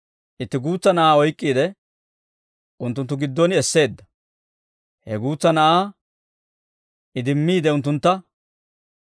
Itti guutsa na'aa oyk'k'iide, unttunttu giddon esseedda; he guutsa na'aa idimmiide unttuntta,